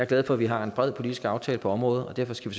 glad for at vi har en bred politisk aftale på området og derfor skal